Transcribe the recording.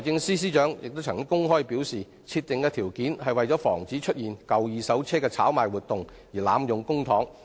司長曾公開表示，設定上述條件，是為了防止出現舊二手車炒賣活動而濫用公帑。